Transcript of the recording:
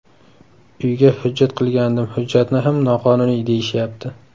Uyga hujjat qilgandim, hujjatni ham noqonuniy deyishyapti.